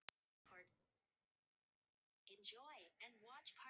Hinn hélt áfram að fást við skuggann undir brúnni.